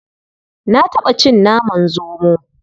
Na taɓa cin naman zomo.